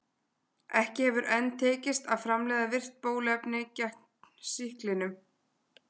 Ekki hefur enn tekist að framleiða virkt bóluefni gegn sýklinum.